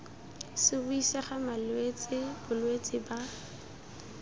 se buisega malwetse bolwetse ba